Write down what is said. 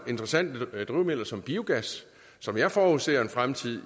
interessante drivmidler som biogas som jeg forudser en fremtid